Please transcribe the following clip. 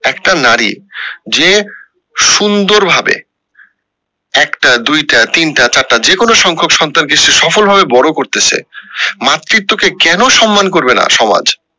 একটা নারী যে সুন্দর ভাবে একটা দুইটা তিনটা চারটা যেকোনো সংখক সন্তান কে সফল ভাবে বড়ো করতেসে মাতৃত্ব কে কেন সম্মান করবে না সমাজ